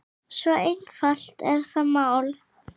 Svo einfalt er það mál.